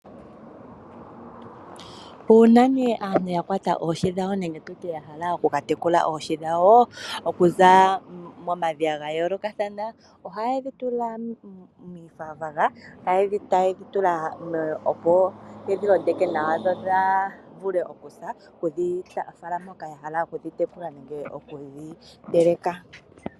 Uuna nee aantu yakwata oohi dhawo nenge tutye yahala oku katekula oohi dhawo okuza momadhiya ga yoolokathana ohayedhi tula moonayilona yo yedhi londeke nawa dhivule oku dhiteleka.